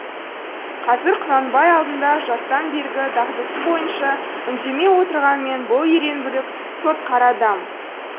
қазір құнанбай алдында жастан бергі дағдысы бойынша үндемей отырғанмен бұл ерен бүлік сотқар адам